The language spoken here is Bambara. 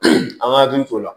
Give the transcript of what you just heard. An k'an hakili t'o la